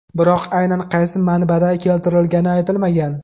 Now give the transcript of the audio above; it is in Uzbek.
Biroq aynan qaysi manbada keltirilgani aytilmagan.